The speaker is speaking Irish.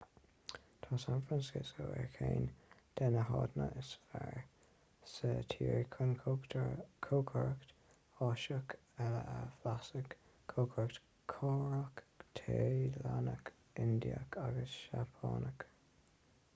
tá san francisco ar cheann de na háiteanna is fearr sa tír chun cócaireacht áiseach eile a bhlaiseadh cócaireacht chóiréach téalannach indiach agus seapánach